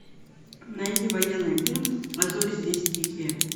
найди военный фильм а зори здесь тихие